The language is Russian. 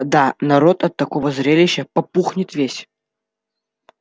да народ от такого зрелища попухнет весь